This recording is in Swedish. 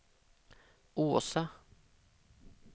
Åsa